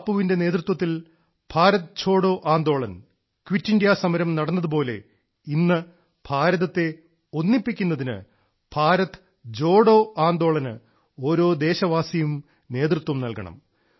ബാബുവിന്റെ നേതൃത്വത്തിൽ Bharat Chhodo Andolan quit India സമരം നടന്നതുപോലെ ഇന്ന് ഭാരതത്തെ ഒന്നിപ്പിക്കുന്നതിന് ഭാരത് ജോഡോ ആന്ദോളന് ഓരോ ദേശവാസിയും നേതൃത്വം നൽകണം